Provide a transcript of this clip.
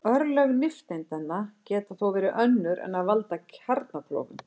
Örlög nifteindanna geta þó verið önnur en að valda kjarnaklofnun.